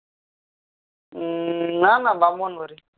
না না ব্রাহ্মণ বাড়ি